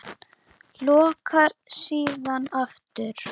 Lokar síðan aftur.